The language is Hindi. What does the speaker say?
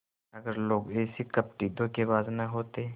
अगर लोग ऐसे कपटीधोखेबाज न होते